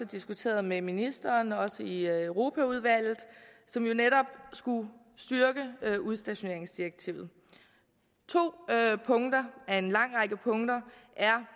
diskuteret med ministeren også i europaudvalget og som jo netop skulle styrke udstationeringsdirektivet to punkter af en lang række punkter er